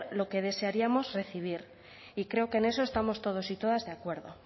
lo que desearíamos recibir y creo que en eso estamos todos y todas de acuerdo